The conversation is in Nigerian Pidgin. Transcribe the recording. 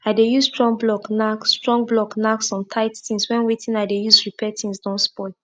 no burn plant wey remain on top ground wey you wan plant crop make organic matter and living things for soil no go waste